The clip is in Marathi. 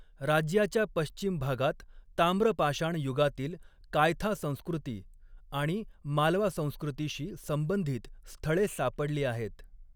राज्याच्या पश्चिम भागात ताम्रपाषाण युगातील कायथा संस्कृती आणि मालवा संस्कृतीशी संबंधित स्थळे सापडली आहेत.